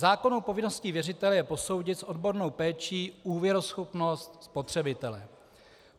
Zákonnou povinností věřitele je posoudit s odbornou péčí úvěruschopnost spotřebitele.